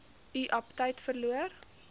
u aptyt verloor